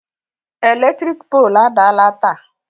Eletrik poolu adaala taa